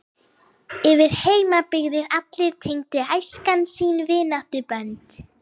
Yfir heimsbyggðir allar tengir æskan sín vináttubönd.